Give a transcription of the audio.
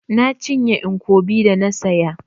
Na cinye nkwobi da na saya.